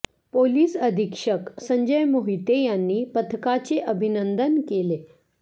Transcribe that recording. police अधीक्षक संजय मोहिते यांनी पथकाचे अभिनंदन केले